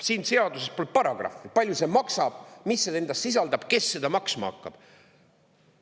Siin seaduses pole paragrahvi, palju see maksab, mida see endas sisaldab, kes seda maksma hakkab.